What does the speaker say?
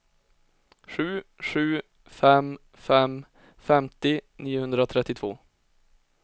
sju sju fem fem femtio niohundratrettiotvå